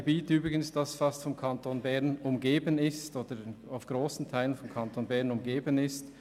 Übrigens ist es ein Gebiet, das grösstenteils vom Kanton Bern umgeben ist.